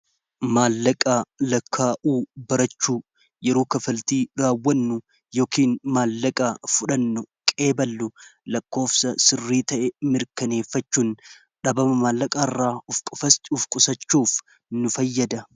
Maallaqa lakkaa'uu barachuu yeroo kafaltii raawwannu yookiin maallaqaa fudhannu qeeballu laqkoofsa sirrii ta'e mirkaneeffachuun dhabama maallaqaa irraa of qusachuuf nu fayyada.